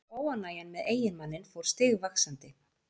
Óánægjan með eiginmanninn fór stigvaxandi.